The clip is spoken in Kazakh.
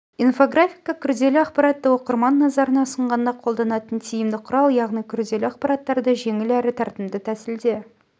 инфографика күрделі ақпаратты оқырман назарына ұсынғанда қолданатын тиімді құрал яғни күрделі ақпараттарды жеңіл әрі тартымды тәсілде